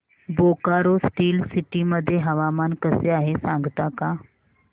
Bokaro Steel City मध्ये हवामान कसे आहे सांगता का